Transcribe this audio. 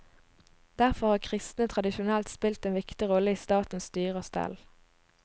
Derfor har kristne tradisjonelt spilt en viktig rolle i statens styre og stell.